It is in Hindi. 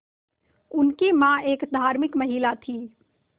उनकी मां एक धार्मिक महिला थीं